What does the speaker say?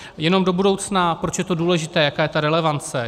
Jenom do budoucna, proč je to důležité, jaká je ta relevance.